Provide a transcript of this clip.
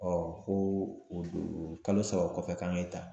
ko o don kalo saba kɔfɛ k'an ke ta